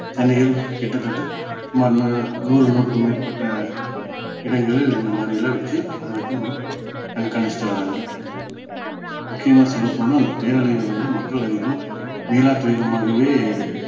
சென்னையில் கிட்டத்தட்ட சுமார் இந்த நூறு நூறுக்கும் பேற்பட்ட இடங்களில் இந்த மாதிரி எல்லாம் வச்சி அதை வச்சி நம்ம கண்காணிச்சிட்டு வராங்க முக்கியமா சொல்ல போனா அந்த பேரழிவுல இருந்து மக்கள் இன்னும் மீளா துயரமாகவே